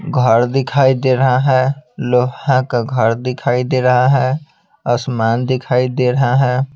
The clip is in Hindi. घर दिखाई दे रहा है लोहा का घर दिखाई दे रहा है आसमान दिखाई दे रहा है।